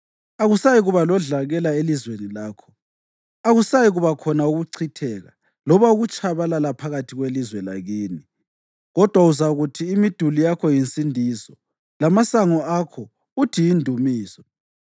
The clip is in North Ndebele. Akusayikuba lodlakela elizweni lakho, akusayikuba khona ukuchitheka loba ukutshabalala phakathi kwelizwe lakini, kodwa uzakuthi imiduli yakho yiNsindiso, lamasango akho uthi yiNdumiso.